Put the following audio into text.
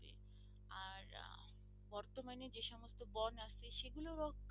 আর বর্তমানে যে সমস্ত বন আছে সেগুলো রক্ষণাৰেক্ষন